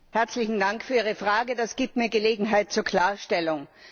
Herzlichen Dank für Ihre Frage, das gibt mir Gelegenheit zur Klarstellung.